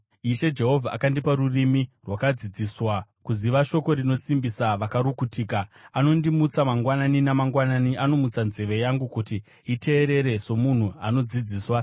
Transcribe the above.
Ishe Jehovha akandipa rurimi rwakadzidziswa, kuziva shoko rinosimbisa vakarukutika. Anondimutsa mangwanani namangwanani, anomutsa nzeve yangu kuti iteerere somunhu anodzidziswa.